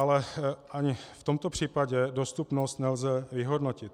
Ale ani v tomto případě dostupnost nelze vyhodnotit.